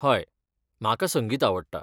हय, म्हाका संगीत आवडटा.